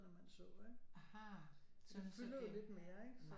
Nå man så ikke så det fylder jo lidt mere ikke